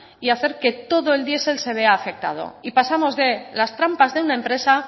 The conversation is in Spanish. y hacer que todo el diesel se vea afectado y pasamos de las trampas de una empresa